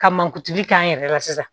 Ka mankutuli k'an yɛrɛ la sisan